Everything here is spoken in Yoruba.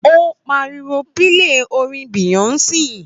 Ó pariwo pílè orin Beyonce!